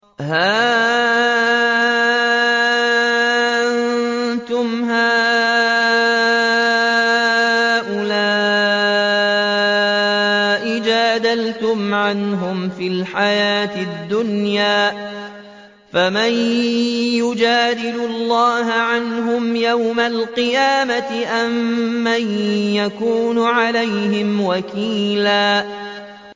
هَا أَنتُمْ هَٰؤُلَاءِ جَادَلْتُمْ عَنْهُمْ فِي الْحَيَاةِ الدُّنْيَا فَمَن يُجَادِلُ اللَّهَ عَنْهُمْ يَوْمَ الْقِيَامَةِ أَم مَّن يَكُونُ عَلَيْهِمْ وَكِيلًا